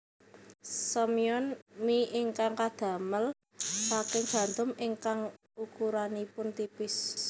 Somyeon mi ingkang kadamel saking gandum ingkang ukuranipun tipis